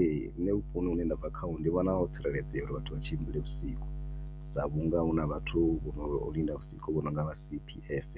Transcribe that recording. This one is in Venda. Ee, nṋe vhuponi hune ndabva khaho ndi vhona ho tsireledzea uri vhathu vha tshimbile vhusiku sa vhunga huna vhathu vhono linda vhusiku vho nonga vha CPF